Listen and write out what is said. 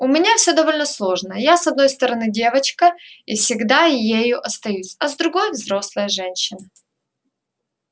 у меня все довольно сложно я с одной стороны девочка и всегда ею останусь а с другой взрослая женщина